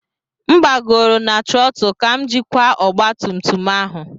M gbagoro na trottle ka m jikwa ọgba tum tum ahụ.